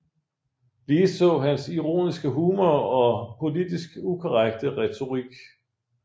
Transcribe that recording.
Ligeså hans ironiske humor og politisk ukorrekte retorik